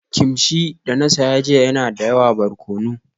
Kimchi da na saya jiya yana da yawa barkono